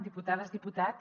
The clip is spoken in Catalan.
diputades diputats